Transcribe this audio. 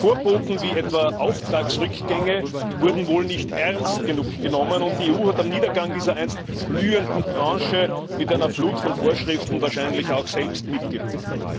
Vorboten wie etwa Auftragsrückgänge wurden wohl nicht ernst genug genommen, und die EU hat am Niedergang der einst blühenden Branche mit einer Flut von Vorschriften wahrscheinlich selbst mitgewirkt.